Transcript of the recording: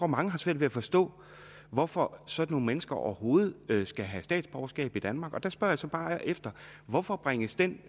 meget svært ved at forstå hvorfor sådan nogle mennesker overhovedet skal have statsborgerskab i danmark og der spørger jeg så bare hvorfor bringes den